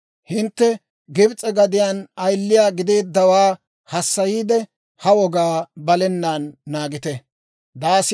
Hintte Gibs'e gadiyaan ayiliyaa gideeddawaa hassayiide, ha wogaa balenaan naagite.